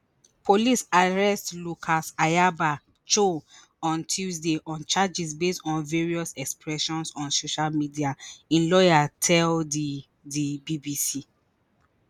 police arrest lucas ayaba cho on tuesday on charges based on various expressions on social media im lawyer tell di di bbc